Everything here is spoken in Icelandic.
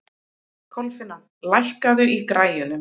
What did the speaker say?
Kolfinna, lækkaðu í græjunum.